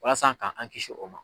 Walasa ka an kisi o ma.